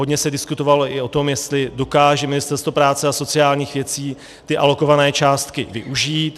Hodně se diskutovalo i o tom, jestli dokáže Ministerstvo práce a sociálních věcí ty alokované částky využít.